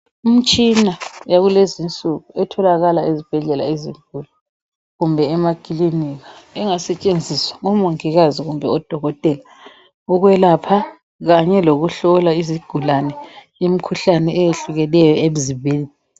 Imtshina yakulezinsuku etholakala ezibhedlea ezinkulu kumbe emaklinika engasetshenziswa ngomongikazi kumbe odokotela ukwelapha kanye lokuhlola izigulane imkhuhlane eyehlukeneyo emzimbeni.